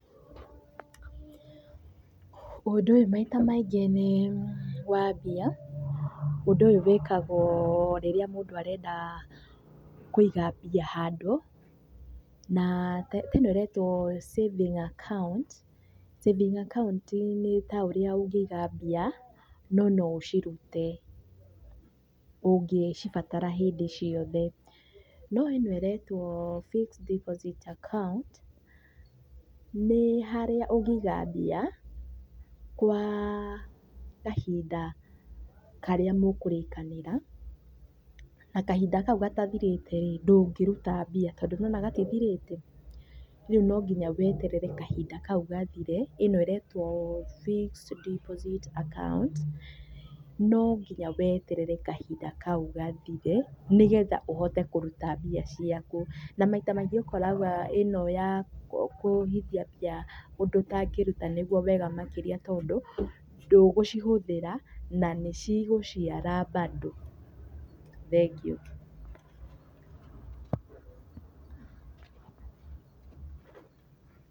Ũndũ ũyũ maita maingĩ nĩ wa mbia ũndũ ũyũ maita maingĩ wĩkagwo rĩrĩa mũndũ arenda kũiga mbia handũ. Na ta ĩno ĩretwo saving account, saving account nĩ ta ũrĩa ũngĩiga mbia no no ũcirute ũngĩcibatara hĩndi ciothe. No ĩno ĩretwo fixed deposit account nĩ harĩa ũngĩiga mbia kwa kahinda karĩa mũkũrĩkanĩra na kahinda kau gatathĩrĩte rĩĩ, ndũngĩrũta mbia tondũ nĩ ũrona gatithirĩte rĩu no nginya weterere kahinda kau gathire ĩno ĩretwo fixed deposit account no nginya weterere kahinda kau gathire nĩgetha ũhote kũruta mbia ciaku. Na maita maingĩ ũkoraga ĩno ya kũhithia mbia ũndũ ũtangĩruta nĩguo wega makĩria tondũ ndũgũcihũthĩra na nĩ cigũciara bado. Thengiũ.